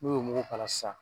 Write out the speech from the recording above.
N'u y'o muku kala sisan.